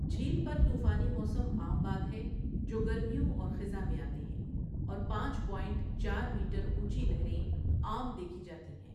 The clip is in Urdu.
جھیل پر طوفانی موسم عام بات ہے جو گرمیوں اور خزاں میں آتے ہیں اور پانچ پوائنٹ چار میٹر اونچی لہریں عام دیکھی جاتی ہیں۔